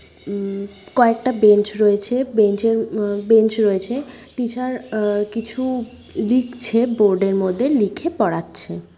উম কয়েকটা বেঞ্চ রয়েছে। বেঞ্চের ম বেঞ্চ রয়েছে। টিচার আ কিছু লিখছে বোর্ডের মধ্যে। লিখে পড়াচ্ছে।